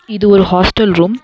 இது ஒரு hostel room .